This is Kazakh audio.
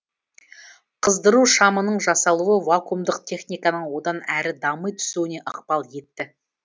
қыздыру шамының жасалуы вакуумдық техниканың одан әрі дами түсуіне ықпал етті